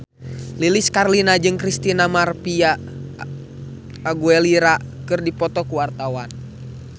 Lilis Karlina jeung Christina María Aguilera keur dipoto ku wartawan